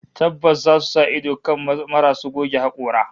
Tabbas zasu sa ido kan marasu goge hakora